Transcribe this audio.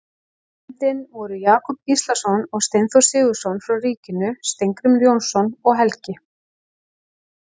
nefndinni voru Jakob Gíslason og Steinþór Sigurðsson frá ríkinu, Steingrímur Jónsson og Helgi